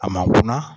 A ma kɔnna